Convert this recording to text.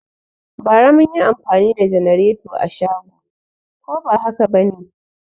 Bara mun yi anfani da janareto a shago ko ba haka ba ne?